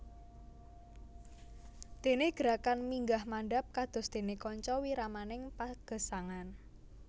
Dene gerakan minggah mandhap kados dene kaca wiramaning pagesangan